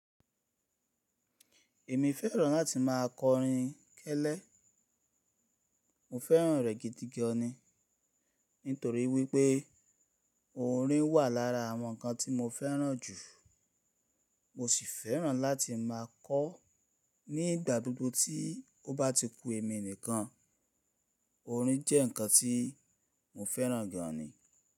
Èmi fẹ́ràn láti má a kọ orin kẹlẹ́. Mo fẹ́ràn rẹ̀ gidigani, nítorí wípé orin wà lára àwọn ǹkan tí mo fẹ́ràn jù. Mo sì fẹ́ràn láti má a kọ ó nígbà gbogbo tí ó bá ti ku èmi nìkan. Orin jẹ́ ǹkan tí mo fẹ́ràn gan ni.